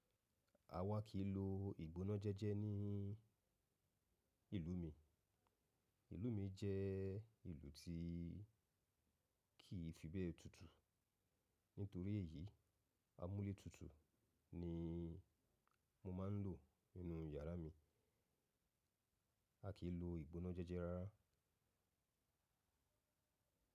A wà kì í lo ìgbona jẹ́jẹ́ ní ìlú mi. Ìlú mi jẹ́ ìlú tí kì í fi bẹ́e tutù. Nítorí èyí, amúlé tutù ni mo máa ń lò ninú yàrá mi. A kì í lo ìgbona jẹ́jẹ́ rárá.